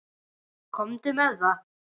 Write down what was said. Komdu með það.